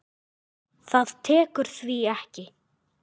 Það tekur því ekki.